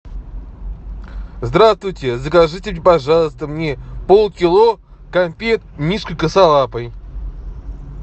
здравствуйте закажите пожалуйста мне полкило конфет мишка косолапый